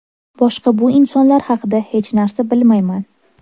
Boshqa bu insonlar haqida hech narsa bilmayman.